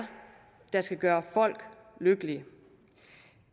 der skal gøre folk lykkelige